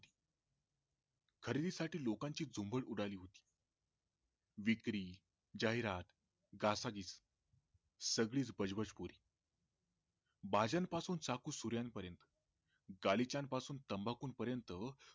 खरेदी साठी लोकांची झुंबड उडाली होती विक्री, जाहिरात, घासाघिस सगळीच बजबजपुरी भाज्यां पासून चाकू सूऱ्यां पर्यन्त गलीच्यां पासून तंबाखू पर्यन्त